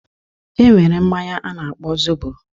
E nwere mmanya a na-akpọ zobo